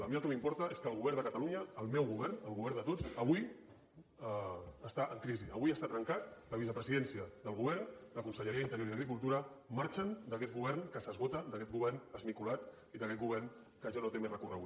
a mi el que m’importa és que el govern de catalunya el meu govern el govern de tots avui està en crisi avui està trencat la vicepresidència del govern la conselleria d’interior i d’agricultura marxen d’aquest govern que s’esgota d’aquest govern esmicolat i d’aquest govern que ja no té més recorregut